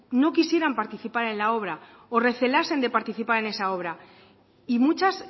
no quisieran participar en la obra o recelasen de participar en esa obra y muchas